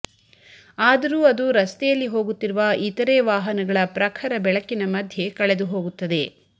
ಆದರೂ ಅದು ರಸ್ತೆಯಲ್ಲಿ ಹೋಗುತ್ತಿರುವ ಇತರೆ ವಾಹನಗಳ ಪ್ರಖರ ಬೆಳಕಿನ ಮಧ್ಯೆ ಕಳೆದುಹೋಗುತ್ತದೆ